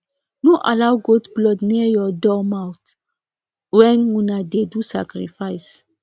no allow goat blood near your door mouth when una dey do sacrifice